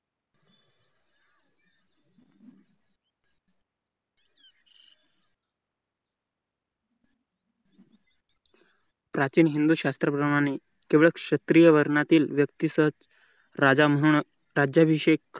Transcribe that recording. प्राचीन हिंदू शास्त्र प्रमाणे केवळ क्षेत्रीय वर्णातील व्यक्तीसच राजा म्हणून राज्याभिषेक